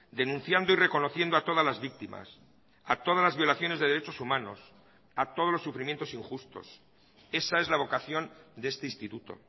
denunciando y reconociendo a todas las víctimas a todas las violaciones de derechos humanos a todos los sufrimientos injustos esa es la vocación de este instituto